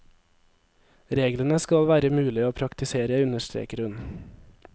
Reglene skal være mulige å praktisere, understreker hun.